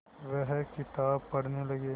वह किताब पढ़ने लगे